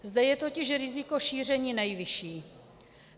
Zde je totiž riziko šíření nejvyšší.